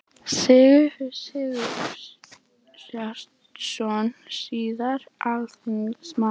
Sigfús Sigurhjartarson, síðar alþingismaður.